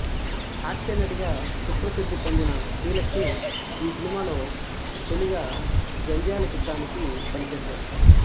హాస్యనటిగా సుప్రసిద్ధి పొందిన శ్రీలక్ష్మి ఈ సినిమాలో తొలిగా జంధ్యాల చిత్రానికి పనిచేశారు